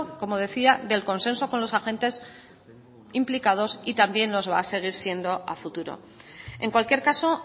como decía del consenso con los agentes implicados y también los va ser siendo a futuro en cualquier caso